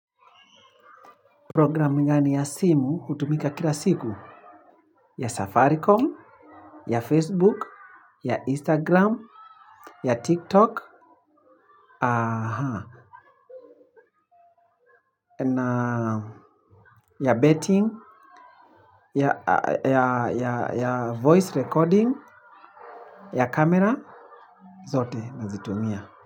Programu gani ya simu hutumika kila siku ya Safaricom, ya Facebook, ya Instagram, ya TikTok, aa ya betting, ya ya ya voice recording, ya camera, zote nazitumia.